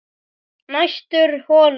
Næstur holu